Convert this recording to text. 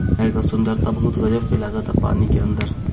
एगो सुंदर ता बहुत ही गज़ब के लागता पानी के अंदर।